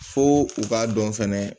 Fo u k'a dɔn fɛnɛ